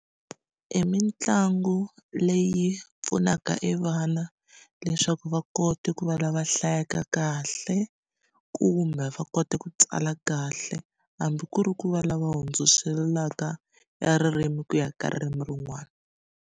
E mitlangu leyi pfunaka e vana leswaku va kota ku va lava hlayaka kahle kumbe va kota ku tsala kahle hambi ku ri ku va lava hundziselaka ya ririmi ku ya ka ririmi rin'wana.